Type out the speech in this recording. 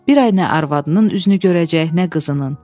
Bir ay nə arvadının üzünü görəcək, nə qızının.